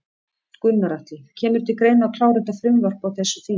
Gunnar Atli: Kemur til greina að klára þetta frumvarp á þessu þingi?